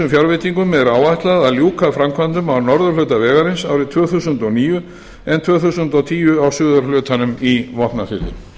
fjárveitingum er áætlað að ljúka framkvæmdum á norðurhluta vegarins árið tvö þúsund og níu en tvö þúsund og tíu á suðurhlutanum í vopnafirði